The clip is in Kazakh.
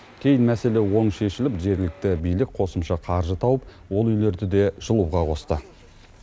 кейін мәселе оң шешіліп жергілікті билік қосымша қаржы тауып ол үйлерді де жылуға қосты